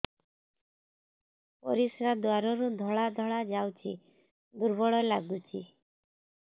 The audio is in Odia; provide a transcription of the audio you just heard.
ପରିଶ୍ରା ଦ୍ୱାର ରୁ ଧଳା ଧଳା ଯାଉଚି ଦୁର୍ବଳ ଲାଗୁଚି